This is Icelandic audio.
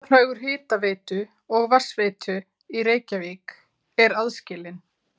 Fjárhagur hitaveitu og vatnsveitu í Reykjavík aðskilinn.